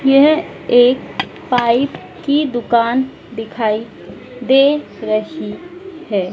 यह एक पाइप की दुकान दिखाई दे रही है।